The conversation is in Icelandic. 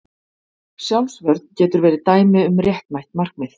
Sjálfsvörn getur verið dæmi um réttmætt markmið.